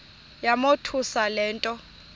yamothusa le nto